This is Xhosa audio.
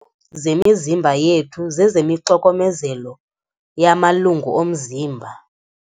Zemizimba yethu zezemixokomezelo yamalungu omzimba.